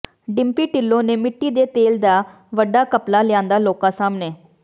ਡਿੰਪੀ ਿਢੱਲੋਂ ਨੇ ਮਿੱਟੀ ਦੇ ਤੇਲ ਦਾ ਵੱਡਾ ਘਪਲਾ ਲਿਆਂਦਾ ਲੋਕਾਂ ਸਾਹਮਣੇ